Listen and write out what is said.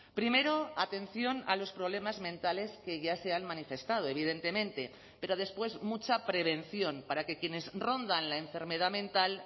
primero atención a los problemas mentales que ya se han manifestado evidentemente pero después mucha prevención para que quienes rondan la enfermedad mental